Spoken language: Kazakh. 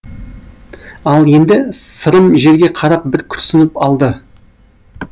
ал енді сырым жерге қарап бір күрсініп алды